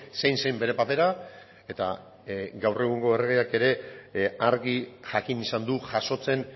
zein zen bere papera eta gaur egungo erregeak ere argi jakin izan du jasotzen